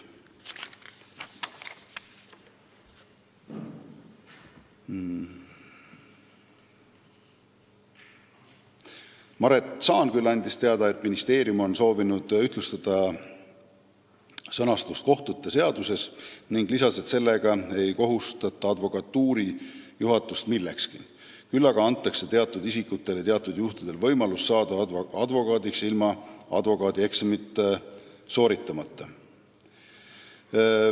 Maret Saanküll andis teada, et ministeerium on soovinud ühtlustada kohtute seaduse sõnastust, ning lisas, et sellega ei kohustata advokatuuri juhatust millekski, küll aga antakse teatud isikutele teatud juhtudel võimalus saada advokaadiks ilma advokaadieksamit sooritamata.